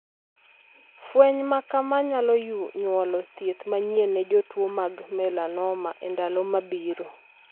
Fweny ma kamaa nyalo nyuolo thieth manyien ne jotuo mag 'melanoma' e ndalo mabiro.